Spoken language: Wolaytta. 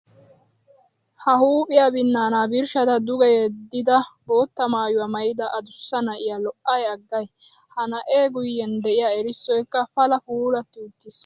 Ha huuphiya binaana birshshadda duge yeddida bootta maayuwa maayidda adussa na'iya lo'ay aggay! Ha na'e guyen de'iya erissoykka pala puulatti uttis.